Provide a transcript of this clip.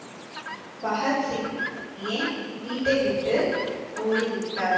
பகத்சிங் ஏன் வீட்டை விட்டு ஓடிவிட்டார்